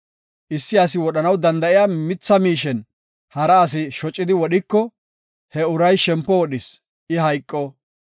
Issi asi wodhanaw danda7iya mitha miishen hara asi shocidi wodhiko he uray shempo wodhis; I hayqo.